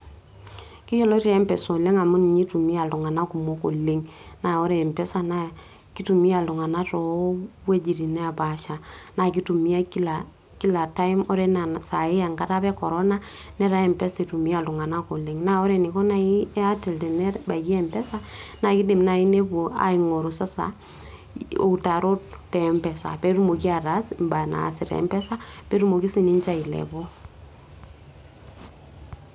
kiyioloti mpesa amu ninye itumia iltunganak kumok oleng, naa kitumiae too wuejitin neepaasha, naa kitumiae kila time ore anaa enkata apa e corona netaa mpesa apa itumia iltunganak oleng, naa ore eniko naaji airtel, tenebaiki mpesa naa kidim naaji nepuo aing'oru sasa iutarot te mpesa, pee etumoki atasa imbaa naasi te mpesa pee etumoki sii ninche eilepu.